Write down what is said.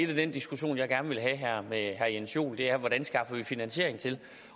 den diskussion jeg gerne vil have her med herre jens joel er hvordan vi skaffer finansiering til